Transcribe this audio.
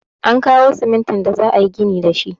An kawo simintin da za'ayi ginin da shi.